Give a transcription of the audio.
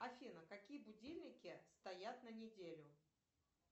афина какие будильники стоят на неделю